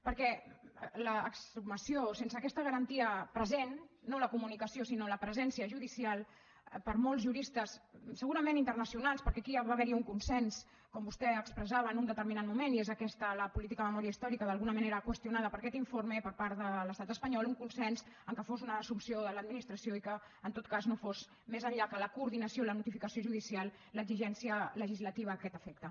perquè l’exhumació sense aquesta garantia present no la comunicació sinó la presència judicial per a molts juristes segurament internacionals perquè aquí ja va haverhi un consens com vostè expressava en un determinat moment i és aquesta la política de memòria històrica d’alguna manera qüestionada per aquest informe per part de l’estat espanyol un consens en què fos una assumpció de l’administració i que en tot cas no fos més enllà que la coordinació la notificació judicial l’exigència legislativa a aquest efecte